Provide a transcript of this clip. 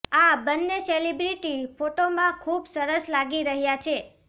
આ બંને સેલેબ્રિટી ફોટોમાં ખૂબ સરસ લાગી રહ્યા છે